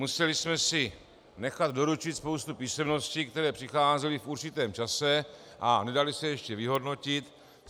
Museli jsme si nechat doručit spoustu písemností, které přicházely v určitém čase a nedaly se ještě vyhodnotit.